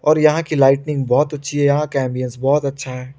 और यहां की लाइटिंग बहोत अच्छी है यहां का अम्बिएंस बहोत अच्छा है।